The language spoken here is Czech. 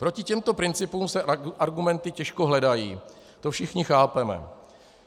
Proti těmto principům se argumenty těžko hledají, to všichni chápeme.